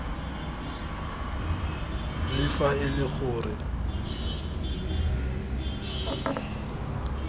le fa e le gore